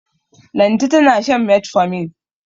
Lanti tana shan metformin.